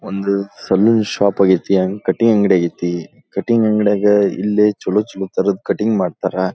ಒಂದು salon shop ಆಗಿದೆ ಒಂದು ಕಟಿಂಗ್ ಅಂಗಡಿ ಆಗಿದೆ ಕಟಿಂಗ್ ಅಂಗಡಿಯಲ್ಲಿ ಚಲೋ ಚಲೊತರಹದ ಕಟಿಂಗ್ ಮಾಡ್ತಾರಾ.